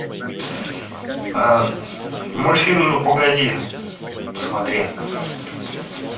мультфильм ну погоди посмотри